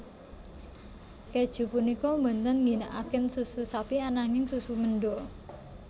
Kèju punika boten ngginakaken susu sapi ananging susu menda